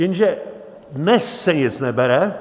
Jenže dnes se nic nebere.